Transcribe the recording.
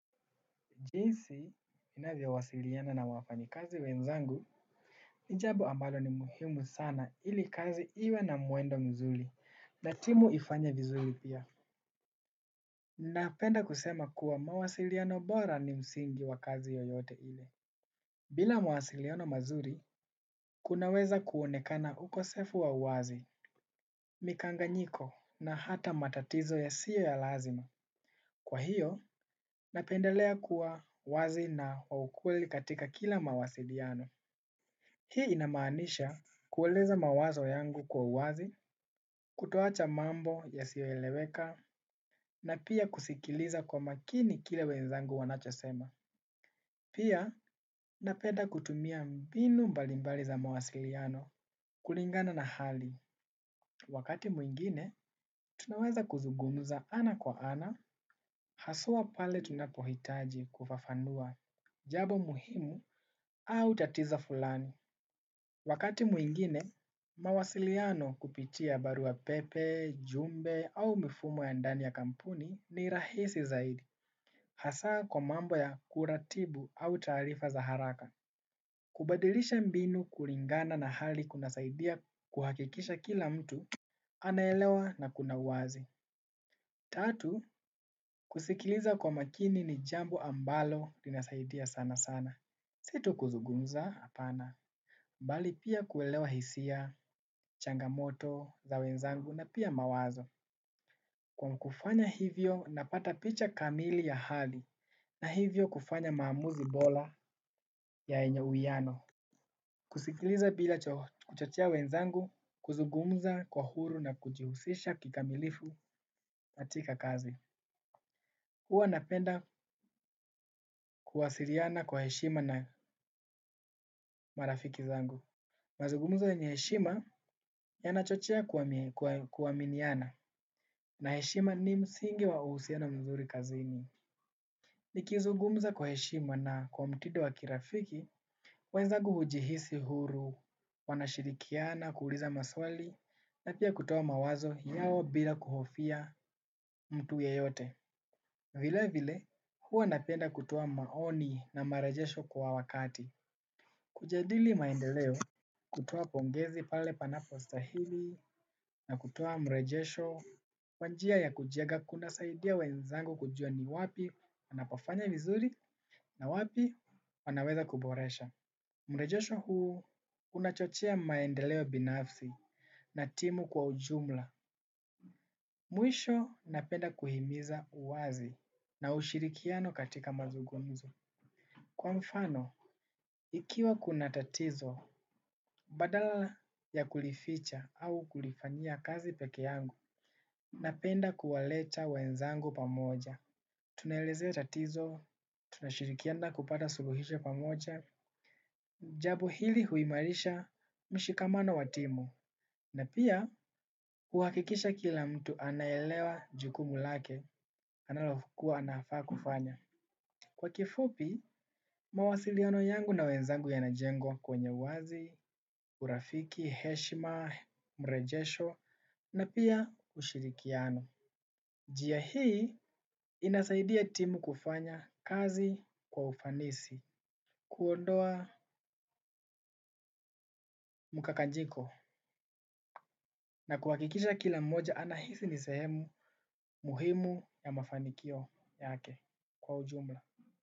Jinsi ninavyowasiliana na wafanya kazi wenzanguni jambo ambalo ni la muhimu sana ili kazi iwe na mwendo mzuri na timu ifanye vizuri pia. Napenda kusema kuwa mawasiliano bora ni msingi wa kazi yoyote ile. Bila mawasiliano mazuri, kunaweza kuonekana ukosefu wa uwazi, mikanganyiko na hata matatizo ya siyo ya lazima. Kwa hiyo, napendelea kuwa wazi na waukweli katika kila mawasiliano. Hii inamanisha kuweleza mawazo yangu kwa uwazi, kutoacha mambo yasio eleweka, na pia kusikiliza kwa makini kile wenzangu wanachosema. Pia, napenda kutumia mbinu mbalimbali za mawasiliano kulingana na hali. Wakati mwingine, tunaweza kuzugumuza ana kwa ana, haswa pale tunapohitaji kufafanua, jambo muhimu au tatizo fulani. Wakati mwingine, mawasiliano kupitia barua pepe, jumbe au mifumo ya ndani ya kampuni ni rahisi zaidi. Hasaa kwa mambo ya kuratibu au taarifa za haraka. Kubadilisha mbinu kulingana na hali kunasaidia kuhakikisha kila mtu, anaelewa na kuna uwazi. Tatu, kusikiliza kwa makini ni jambo ambalo linasaidia sana sana. Situ kuzungumza hapana. Bali pia kuelewa hisia. Changamoto za wenzangu na pia mawazo. Kwa kufanya hivyo napata picha kamili ya hali na hivyo kufanya maamuzi bora ya yenye uwiano. Kusikiliza bila kuchochea wenzangu kuzugumza kwa uhuru na kujihusisha kikamilifu katika kazi. Uwa napenda kuwasiliana kwa heshima na marafiki zangu. Mazugumzo yenye heshima yanachochea kuaminiana na heshima ni msingi wa uhusiano mzuri kazini. Nikizugumza kwa heshima na kwa mtindo wa kirafiki, wenzangu hujihisi huru, wanashirikiana, kuuliza maswali, na pia kutoa mawazo yao bila kuhofia mtu ya yote. Vile vile, huwa napenda kutoa maoni na marejesho kwa wakati. Kujadili maendeleo, kutoa pongezi pale panapo stahili, na kutoa mrejesho. Wa njia ya kunjenga kuna saidia wenzangu kujua ni wapi wanapafanya vizuri na wapi wanaweza kuboresha. Mrejosho huu unachochea maendeleo binafsi na timu kwa ujumla. Mwisho napenda kuhimiza uwazi na ushirikiano katika mazungumzo. Kwa mfano ikiwa kuna tatizo badala ya kulificha au kulifanyia kazi peke yangu napenda kuwaleta wenzangu pamoja. Tunaelezea tatizo, tunashirikiana kupata suluhisho pamoja, jambo hili huimarisha mshikamano wa timu. Na pia, huakikisha kila mtu anaelewa jukumu lake, analokua anafaa kufanya. Kwa kifupi, mawasiliano yangu na wenzangu yana jengwa kwenye uwazi, urafiki, heshima, mrejesho, na pia ushirikiano. Njia hii inasaidia timu kufanya kazi kwa ufanisi, kuondoa mkakanjiko na kuhakikisha kila mmoja anahisi ni sehemu muhimu ya mafanikio yake kwa ujumla.